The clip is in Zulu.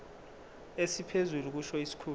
esiphezulu kusho isikhulu